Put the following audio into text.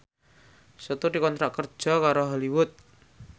Setu dikontrak kerja karo Hollywood